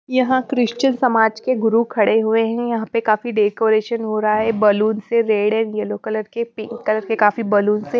यहां क्रिश्चियन समाज के गुरु खड़े हुए हैं यहां पे काफी डेकोरेशन हो रहा है बलून से रेड एंड येलो कलर के पिंक कलर के काफी बलून से--